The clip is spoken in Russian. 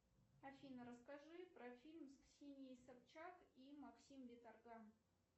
афина расскажи про фильм с ксенией собчак и максим виторган